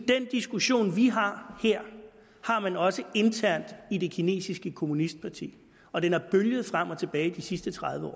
den diskussion vi har her har man også internt i det kinesiske kommunistparti og den har bølget frem og tilbage de sidste tredive